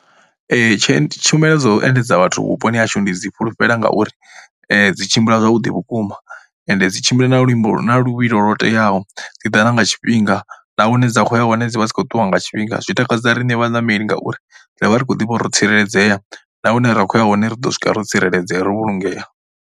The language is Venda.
Ee, tshe tshumelo dzo endedza vhathu vhuponi hashu ndi dzi fhulufhela ngauri dzi tshimbila zwavhuḓi vhukuma ende dzi tshimbila na luimbo na luvhilo lwo teaho. Dzi ḓa na nga tshifhinga na hune dza khou ya hone dzi vha dzi khou ṱuwa nga tshifhinga zwi takadza riṋe vhaṋameli ngauri ra vha ri khou ḓivha ro tsireledzea na hune ra kho ya hone ri ḓo swika ro tsireledzea ri vhulungea.